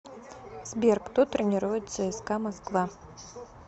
сбер кто тренирует цска москва